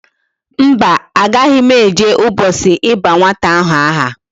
Mba, agaghi m eje ubochi iba nwata ahu aha